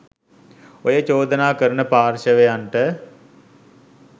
ඔය චෝදනා කරන පාර්ශ්වයන්ට